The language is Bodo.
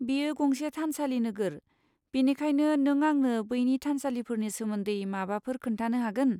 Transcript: बेयो गंसे थानसालि नोगोर, बेनिखायनो नों आंनो बैनि थानसालिफोरनि सोमोन्दै माबाफोर खोन्थानो हागोन?